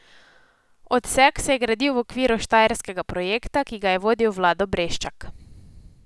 Odsek se je gradil v okviru štajerskega projekta, ki ga je vodil Vlado Breščak.